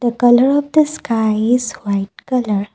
the colour of the sky is white colour.